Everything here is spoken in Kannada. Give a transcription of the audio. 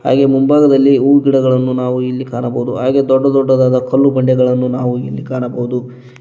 ಹಾಗೆ ಮುಂಭಾಗದಲ್ಲಿ ಹೂ ಗಿಡಗಳನ್ನು ನಾವು ಇಲ್ಲಿ ಕಾಣಬಹುದು ಹಾಗೆ ದೊಡ್ಡ ದೊಡ್ಡದಾದ ಕಲ್ಲು ಬಂಡೆಗಳನ್ನು ನಾವು ಇಲ್ಲಿ ಕಾಣಬಹುದು.